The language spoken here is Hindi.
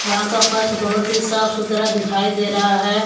यहां का फर्श बहुत ही साफ सुथरा दिखाई दे रहा है।